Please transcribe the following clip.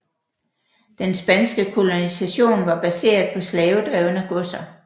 Den spanske kolonisation var baseret på slavedrevne godser